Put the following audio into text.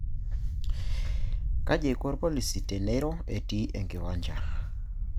Kaji eiko irpolisi teneiro etiii enkiwancha.